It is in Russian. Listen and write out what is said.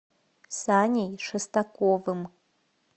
саней шестаковым